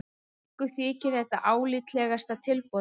Okkur þykir þetta álitlegasta tilboðið